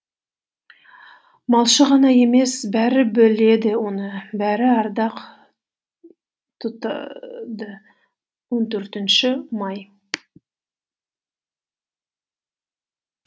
малшы ғана емес бәрі біледі оны бәрі ардақ тұтады он төртінші маи